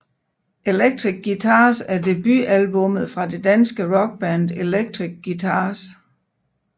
Electric Guitars er debutalbummet fra det danske rockband Electric Guitars